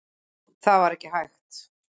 Það var ekki hægt.